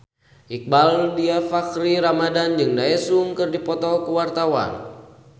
Iqbaal Dhiafakhri Ramadhan jeung Daesung keur dipoto ku wartawan